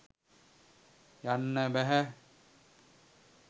යන්න බැහැ.